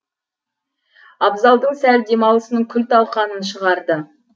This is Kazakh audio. абзалдың сәл демалысының күл талқанын шығарды